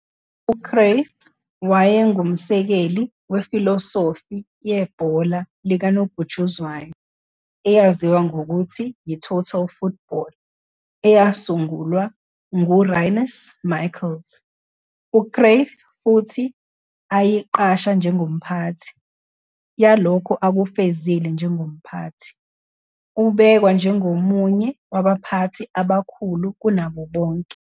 UCruyff wayengumsekeli wefilosofi yebhola likanobhutshuzwayo eyaziwa ngokuthi yi-Total Football eyasungulwa ngURinus Michels, uCruyff futhi ayiqasha njengomphathi. yalokho akufezile njengomphathi, ubhekwa njengomunye wabaphathi abakhulu kunabo bonke.